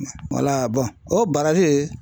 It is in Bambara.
Mɛ o